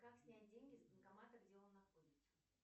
как снять деньги с банкомата где он находится